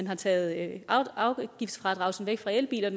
har taget afgiftsfradraget væk fra elbiler